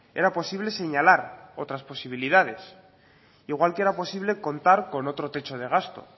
era posible señalar otras posibilidades igual que era posible contar con otro techo de gasto